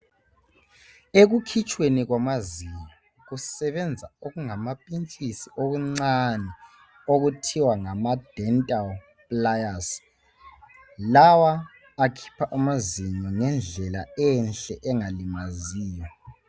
Ekukhitshweni kwamazinyo ukusebenza okungama pintshisi okuncane okuthiwa ngama dental pliers lawa akhipha amazinyo ngendlela enhle engalimaziyo